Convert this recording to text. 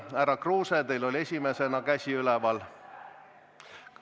Härra Kruuse, teil oli esimesena käsi üleval.